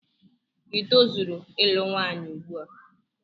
i tozuru ịlụ nwanyị ugbua?